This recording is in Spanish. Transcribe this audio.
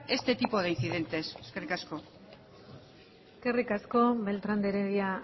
este tipo de incidentes eskerrik asko eskerrik asko beltran de heredia